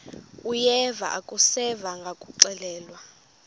uyeva akuseva ngakuxelelwa